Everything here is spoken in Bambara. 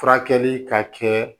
Furakɛli ka kɛ